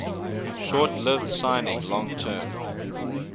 short lived signing long term